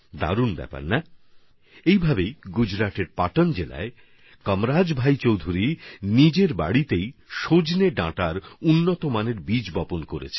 দারুণ ব্যাপার তাই না এভাবেই গুজরাটে পাটন জেলার কামরাজ ভাই চৌধুরী ঘরের মধ্যেই সজনের উন্নত প্রজাতির বীজ উৎপন্ন করেছেন